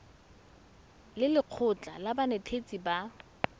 le lekgotlha la banetetshi ba